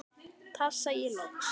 tafsa ég loks.